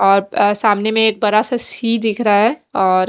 और सामने में एक बड़ा सा सी दिख रहा है और --